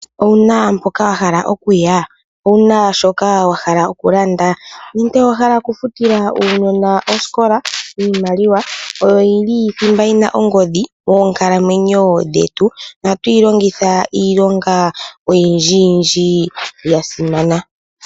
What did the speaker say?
Owuna mpoka wa hala okuya owuna shoka wa hala okulanda nenge owahala okufutila aanona osikola iimaliwa oyo yili thimba yina ongodhi moonkalamwenyo dhetu ohatu yi longitha iilonga oyindjiyindji yasimana.